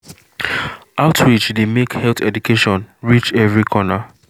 outreach dey make health education reach every corner.